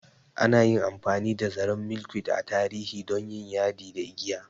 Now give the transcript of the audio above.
Ana yi amfani da zaren Milkweed a tarihi don yin yadi da igiya.